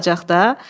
Elə olacaq da.